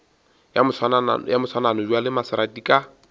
ya moswanano bjale maserati ka